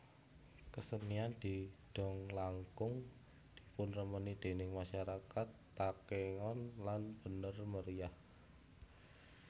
Kesenian didong langkung dipunremeni déning masyarakat Takengon lan Bener Meriah